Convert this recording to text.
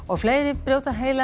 fleiri brjóta heilann